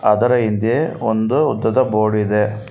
ಅದರ ಹಿಂದೆ ಒಂದು ಉದ್ದದ ಬೋರ್ಡಿದೆ.